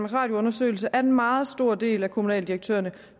radio undersøgelse at en meget stor del af kommunaldirektørerne